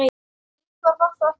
Ingvar var þá ekki fæddur.